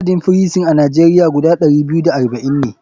Adadin firison a nigeria guda ɗari biyu da arba'in ne.